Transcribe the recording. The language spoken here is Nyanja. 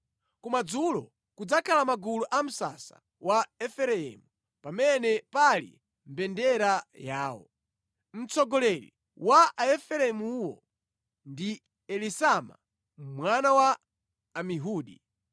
Kumadzulo kudzakhala magulu a msasa wa Efereimu pamene pali mbendera yawo. Mtsogoleri wa Aefereimuwo ndi Elisama mwana wa Amihudi.